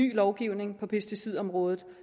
ny lovgivning på pesticidområdet